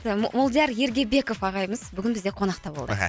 молдияр ергебеков ағайымыз бүгін бізде қонақта болды